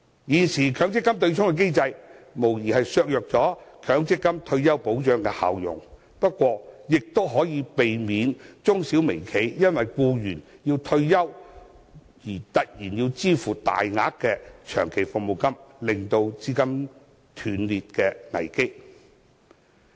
現時的強積金對沖機制無疑削弱了強積金退休保障的效用，不過，亦可避免中小微企因為僱員退休而突然要支付大額的長期服務金，令資金鏈陷入斷裂的危機。